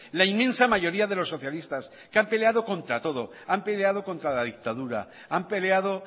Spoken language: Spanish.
la inmensa mayoría de los socialistas que han peleado contra todo han peleado contra la dictadura han peleado